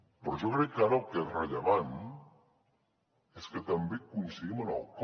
però jo crec que ara el que és rellevant és que també coincidim en el com